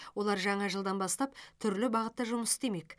олар жаңа жылдан бастап түрлі бағытта жұмыс істемек